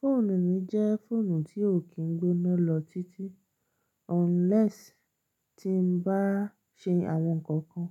Fóònù mi jẹ́ fóònù tí ò kí n gbóná lọ títí, unless tí n bá ṣe àwọn nǹkan kan